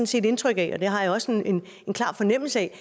set indtryk af og det har jeg også en klar fornemmelse af